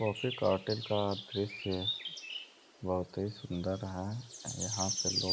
काफी कार्टेल का दृश्य बहुत ही सुंदर है और यहाँ पे लोग --